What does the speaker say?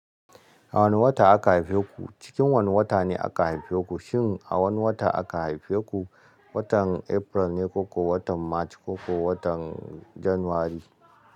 A wane wata aka haife ku? Cikin wane wata ne aka haife ku, shin a wane wata aka haife ku? Watan April ne ko ko watan March ko ko watan January?